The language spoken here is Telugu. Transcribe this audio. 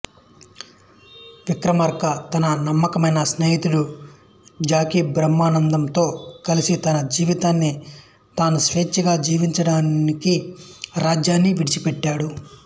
విక్రమార్క తన నమ్మకమైన స్నేహితుడు జాకీ బ్రహ్మానందం తో కలిసి తన జీవితాన్ని తాను స్వేచ్ఛగా జీవించడానికి రాజ్యాన్ని విడిచిపెట్టాడు